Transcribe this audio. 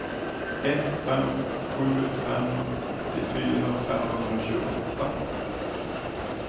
ett fem sju fem åttiofyra femhundratjugoåtta